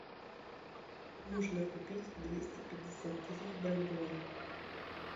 нужно купить двести пятьдесят тысяч бальбоа